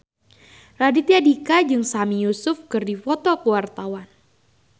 Raditya Dika jeung Sami Yusuf keur dipoto ku wartawan